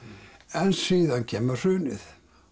en síðan kemur hrunið